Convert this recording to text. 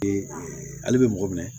Ee ale bɛ mɔgɔ minɛ